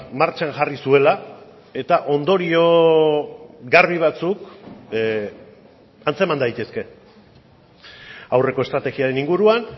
martxan jarri zuela eta ondorio garbi batzuk antzeman daitezke aurreko estrategiaren inguruan